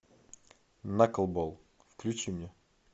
наклбол включи мне